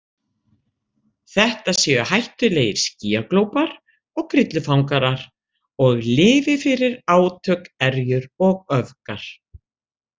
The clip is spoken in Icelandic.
Þetta séu hættulegir skýjaglópar og grillufangarar og lifi fyrir átök, erjur og öfgar.